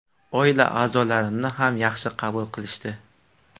Oila a’zolarimni ham yaxshi qabul qilishdi.